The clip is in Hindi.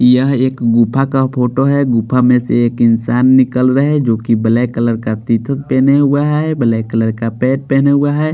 यह एक गुफा का फोटो है गुफा में से एक इंसान निकल रहा है जोकि ब्लैक कलर का टी शर्ट पहना हुआ है ब्लैक कलर का पैन्ट पहना हुआ है।